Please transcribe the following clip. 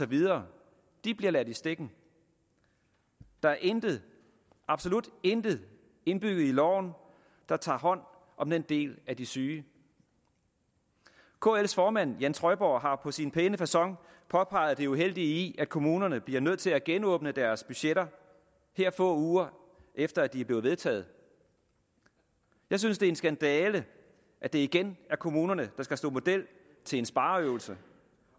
bliver ladt i stikken der er intet absolut intet indbygget i loven der tager hånd om den del af de syge kls formand jan trøjborg har på sin pæne facon påpeget det uheldige i at kommunerne bliver nødt til at genåbne deres budgetter her få uger efter at de er blevet vedtaget jeg synes det er en skandale at det igen er kommunerne der skal stå model til en spareøvelse